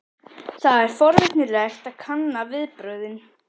Það er forvitnilegt að kanna viðbrögðin.